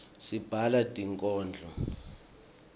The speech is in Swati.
sibhala tinkodlo